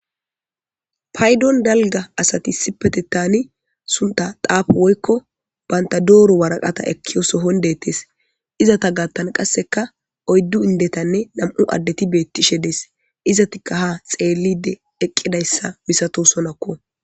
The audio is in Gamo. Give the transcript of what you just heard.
Payidon dalga asati issipetenani tsafo woyikko banta doro waraqata ekiyo soohon dettes izeta gaththan qasekka oyddu indetanne nam'u adet betishshe des izetikka ha xelid eqidayissa misatosonakko